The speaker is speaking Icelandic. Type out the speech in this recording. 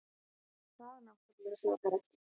Það náttúrlega sakar ekki.